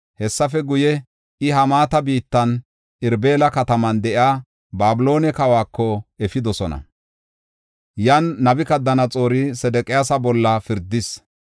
Hessafe guye, iya Hamaata biittan, Irbila kataman de7iya Babiloone kawako efidosona. Yan Nabukadanaxoori Sedeqiyaasa bolla pirdis.